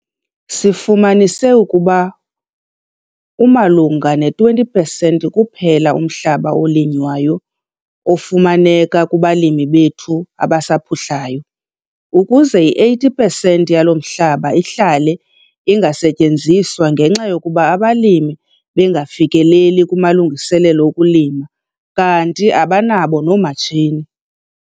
Sifumanise ukuba umalunga ne20 pesenti kuphela umhlaba olinywayo ofumaneka kubalimi bethu abasaphuhlayo - ukuze i80 pesenti yalo mhlaba ihlale ingasetyenziswa ngenxa yokuba abalimi bengafikeleli kumalungiselelo okulima kanti abanabo noomatshini.